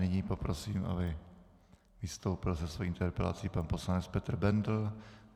Nyní poprosím, aby vystoupil se svou interpelací pan poslanec Petr Bendl.